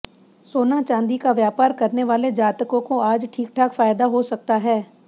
सोना चांदी का व्यापार करने वाले जातकों को आज ठीक ठाक फायदा हो सकता है